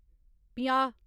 पंजाह्